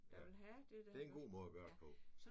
Ja. Det er en god måde at gøre det på